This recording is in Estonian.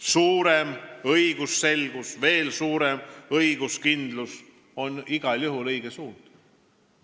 Suurem õigusselgus ja veel suurem õiguskindlus on igal juhul õige suund.